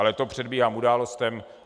Ale to předbíhám událostem.